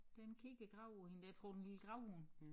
Den kigger graver hende der tror det en lille gravhund